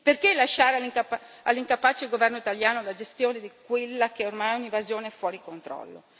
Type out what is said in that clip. Perché lasciare all'incapace governo italiano la gestione di quella che ormai è un'invasione fuori controllo?